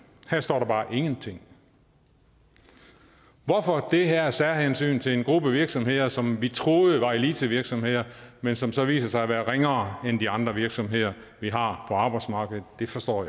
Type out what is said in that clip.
her står der bare ingenting hvorfor det her særhensyn til en gruppe virksomheder som vi troede var elitevirksomheder men som så viser sig at være ringere end de andre virksomheder vi har på arbejdsmarkedet det forstår